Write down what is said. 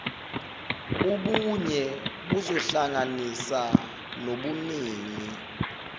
ubunye buzohlanganisa nobuningi